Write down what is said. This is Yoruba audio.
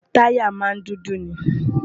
táyà máa n dúdú ni